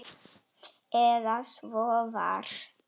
Eða svo var.